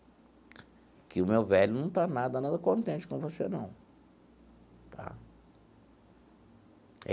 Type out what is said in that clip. Porque o meu velho não está nada, nada contente com você, não, tá?